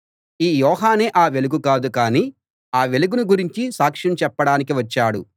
ఈ యోహానే ఆ వెలుగు కాదు కానీ ఆ వెలుగును గురించి సాక్ష్యం చెప్పడానికి వచ్చాడు